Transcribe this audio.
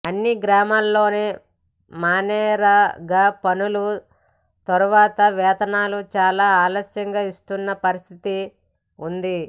అన్ని గ్రామాల్లోను మన్రేగా పనుల తర్వాత వేతనాలు చాలా ఆలస్యంగా ఇస్తున్న పరిస్థితే ఉంది